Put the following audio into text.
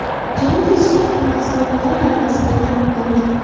Jang kechga yaqin nasroniylar g‘alabasi bilan yakunlandi.